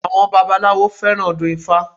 Àwọn babaláwo fẹ́ràn ọdún ifá